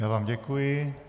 Já vám děkuji.